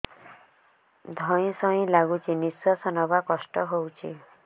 ଧଇଁ ସଇଁ ଲାଗୁଛି ନିଃଶ୍ୱାସ ନବା କଷ୍ଟ ହଉଚି